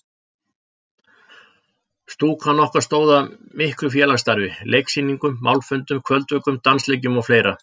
Stúkan okkar stóð að miklu félagsstarfi: Leiksýningum, málfundum, kvöldvökum, dansleikjum og fleira.